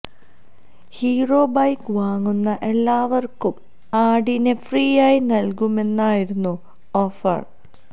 hero bike വാങ്ങുന്ന എല്ലാവര്ക്കും ആടിനെ ഫ്രീയായി നല്കുമെന്നായിരുന്നു ഓഫര്